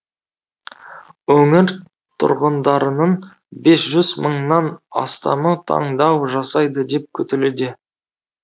өңір тұрғындарының бес жүз мыңнан астамы таңдау жасайды деп күтілуде